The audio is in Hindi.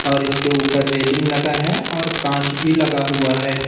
और इसके ऊपर रेलिंग लगा है और कांच भी लगा हुआ है।